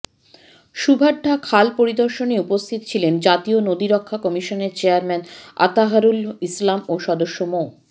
শুভাঢ্যা খাল পরিদর্শনে উপস্থিত ছিলেন জাতীয় নদী রক্ষা কমিশনের চেয়ারম্যান আতাহারুল ইসলাম ও সদস্য মো